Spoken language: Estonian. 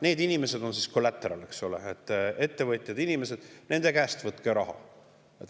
Need inimesed, ettevõtjad on collateral, eks ole, nende käest võtke raha.